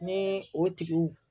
Ni o tigiw